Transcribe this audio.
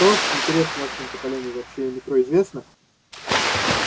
что интересно вашему поколению вообще о метро известно